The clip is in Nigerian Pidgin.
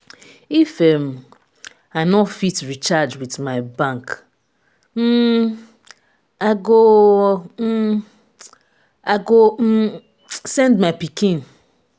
if um i no fit recharge with my bank um i go um i go um send my pikin.